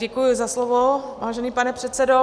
Děkuji za slovo, vážený pane předsedo.